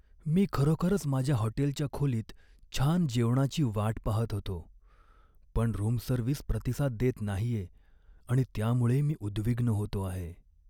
मी खरोखरच माझ्या हॉटेलच्या खोलीत छान जेवणाची वाट पाहत होतो, पण रूम सर्व्हिस प्रतिसाद देत नाहीये आणि त्यामुळे मी उद्विग्न होतो आहे.